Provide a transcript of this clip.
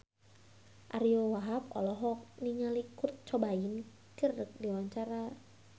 Ariyo Wahab olohok ningali Kurt Cobain keur diwawancara